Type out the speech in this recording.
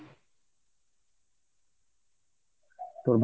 তোর